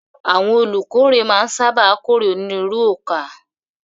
Àwọn olùkórè máa ń sáábà kórè onírúurú ọkà.